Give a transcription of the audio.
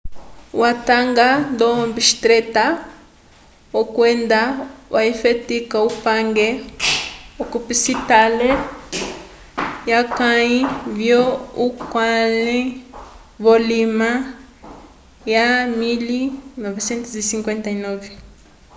watanga ndo obstetra kwenda wafetika upange k'osipitale wofeka wakãyi vyo auckland vulima wa 1959